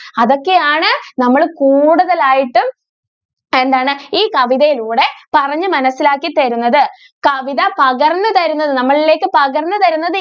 അതൊക്കെ ആണ് നമ്മൾ കൂടുതൽ ആയിട്ടും എന്താണ് ഈ കവിതയിലൂടെ പറഞ്ഞു മനസിലാക്കി തരുന്നത് കവിത പകർന്നു തരുന്നത് നമ്മളിലേക്ക് പകർന്നു തരുന്നത്.